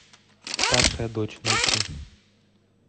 старшая дочь найти